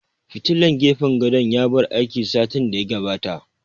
Fitilan gefen gadon ya bar aiki satin da ya gabata